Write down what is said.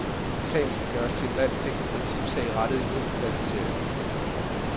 Sagen skal gøres til en landsdækkende principsag rettet imod privatisering.